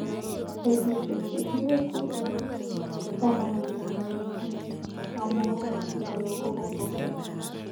Betusiek chegiiguu somonindet netinye komuuet neoo kogobeek.